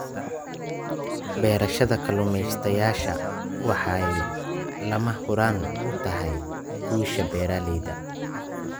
Barashada Kalumestayasha waxay lama huraan u tahay guusha beeralayda.